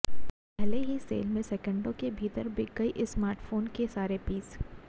पहली ही सेल में सेकेंडों के भीतर बिक गए इस स्मार्टफोन के सारे पीस